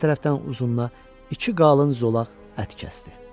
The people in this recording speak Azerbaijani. Hər tərəfdən uzununa iki qalın zolaq ət kəsdi.